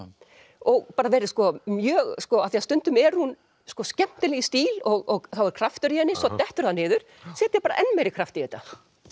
og bara verið mjög af því stundum er hún skemmtileg í stíl og þá er kraftur í henni svo dettur það niður setja bara enn meiri kraft í þetta